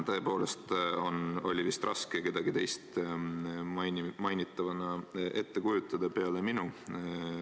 Tõepoolest oli vist raske kedagi teist mainitava all ette kujutada peale minu.